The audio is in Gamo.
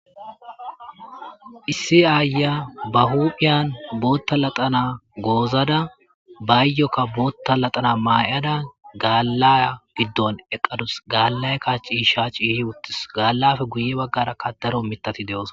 Iss ayiya bahuphan boota laxana mayada gala gidon eqadusi. Gaalappeka guye bagara Daro mithati dosona.